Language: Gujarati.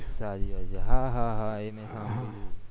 હા હા એ મેં સાંભળ્યું